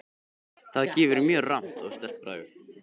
Það gefur mjög rammt og sterkt bragð.